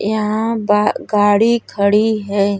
यहाँ बा गाडी खड़ी है।